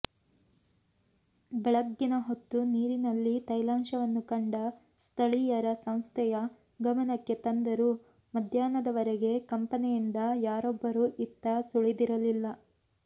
ಬೆಳಗ್ಗಿನ ಹೊತ್ತು ನೀರಿನಲ್ಲಿ ತೈಲಾಂಶವನ್ನು ಕಂಡ ಸ್ಥಳೀಯರ ಸಂಸ್ಥೆಯ ಗಮನಕ್ಕೆ ತಂದರೂ ಮಧ್ಯಾಹ್ನದವರೆಗೆ ಕಂಪೆನಿಯಿಂದ ಯಾರೊಬ್ಬರೂ ಇತ್ತ ಸುಳಿದಿರಲಿಲ್ಲ